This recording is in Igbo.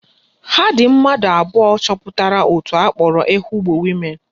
Ha dị mmadụ abụọ chọpụtara òtù akpọrọ Ehugbo Women